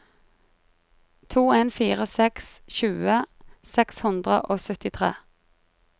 to en fire seks tjue seks hundre og syttitre